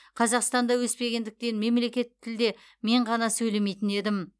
қазақстанда өспегендіктен мемлекеттік тілде мен ғана сөйлемейтін едім